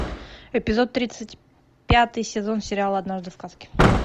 эпизод тридцать пятый сезон сериала однажды в сказке